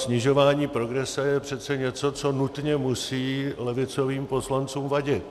Snižování progrese je přece něco, co nutně musí levicovým poslancům vadit.